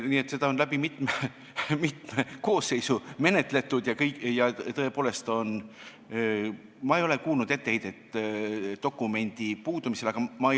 Nii et seda on läbi mitme koosseisu menetletud ja tõepoolest ei ole ma kuulnud etteheidet selle dokumendi puudumise pärast.